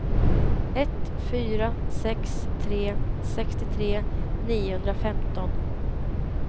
ett fyra sex tre sextiotre niohundrafemton